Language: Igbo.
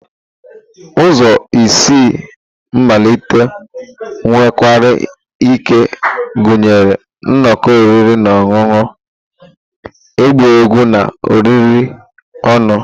Ụzọ isi mmalite nwekwara ike ịgụnye nnọkọ oriri na ọṅụṅụ, ịgba egwu, na oriri ọnụ.